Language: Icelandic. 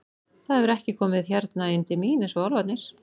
Það hefur ekki komið hérna inn til mín eins og álfarnir.